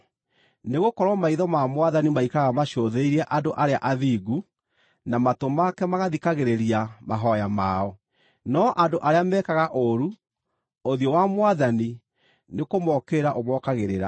Nĩgũkorwo maitho ma Mwathani maikaraga macũthĩrĩirie andũ arĩa athingu, na matũ make magathikagĩrĩria mahooya mao, no andũ arĩa mekaga ũũru, ũthiũ wa Mwathani nĩkũmookĩrĩra ũmookagĩrĩra.”